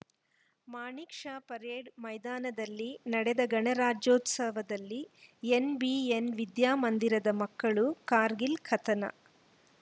Manik Shah parade ಮೈದಾನದಲ್ಲಿ ನಡೆದ ಗಣರಾಜ್ಯೋತ್ಸವದಲ್ಲಿ ಎನ್‌ಬಿಎನ್‌ ವಿದ್ಯಾ ಮಂದಿರದ ಮಕ್ಕಳು ಕಾರ್ಗಿಲ್‌ ಕಥನ